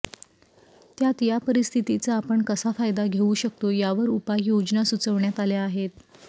त्यात या परिस्थितीचा आपण कसा फायदा घेऊ शकतो यावर उपाययोजना सुचवण्यात आल्या आहेत